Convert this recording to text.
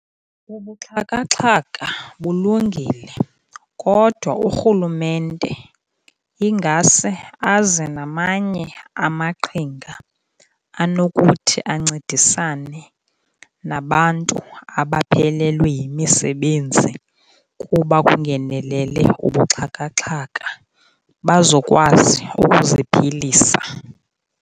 Ubuxhakaxhaka bulungile kodwa urhulumente ingase aze namanye amaqhinga anokuthi ancedisane nabantu abaphelelwe yimisebenzi, kuba kungenelele ubuxhakaxhaka bazokwazi ukuziphilisa.